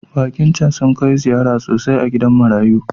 Baki su can kai ziyara sosai a gidan marayu.